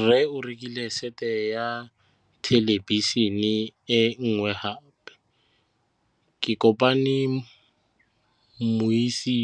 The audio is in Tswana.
Rre o rekile sete ya thêlêbišênê e nngwe gape. Ke kopane mmuisi